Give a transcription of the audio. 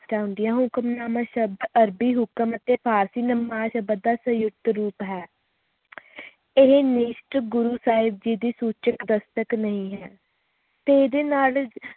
ਚਾਹੁੰਦੀ ਆ ਹੁਕਮਨਾਮਾ ਸ਼ਬਦ ਅਰਬੀ ਹੁਕਮ ਅਤੇ ਭਾਰਤੀ ਨਮਾਜ ਦਾ ਸੰਯੁਕਤ ਰੂਪ ਹੈ ਇਹ ਨਿਸ਼ਟ ਗੁਰੂ ਸਾਹਿਬ ਜੀ ਦੀ ਸੂਚਿਤ ਦਸਤਕ ਨਹੀਂ ਹੈ ਤੇ ਇਹਦੇ ਨਾਲ